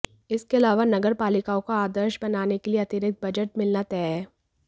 इसके अलावा नगर पालिकाओं को आदर्श बनाने के लिए अतिरिक्त बजट मिलना तय है